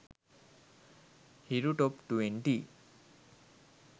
hiru top 20